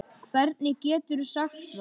Hvernig geturðu sagt það?